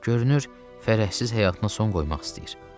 Görünür fərəhsiz həyatına son qoymaq istəyir.